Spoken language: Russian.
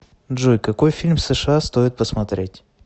джой какои фильм сша стоит посмотреть